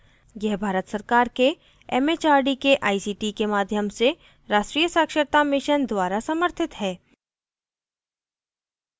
यह भारत सरकार के एमएचआरडी के आईसीटी के माध्यम से राष्ट्रीय साक्षरता mission द्वारा समर्थित है